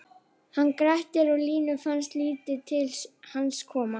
Hann hét Grettir og Línu fannst lítið til hans koma: